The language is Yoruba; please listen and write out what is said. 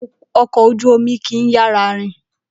Okò ojú Omi kì í yára rìn